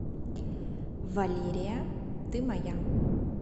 валерия ты моя